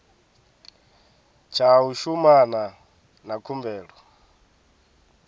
tsha u shumana na khumbelo